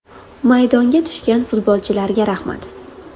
Maydonga tushgan futbolchilarga rahmat.